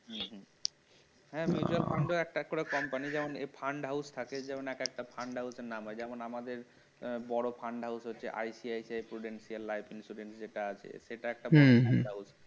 হ্যাঁ mutual fund ও একটা করে company যেমন fund house থাকে যেমন এক একটা fund house নাম হয় যেমন আমাদের বড় fund house হচ্ছে ICICI